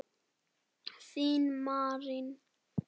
Þín Marín.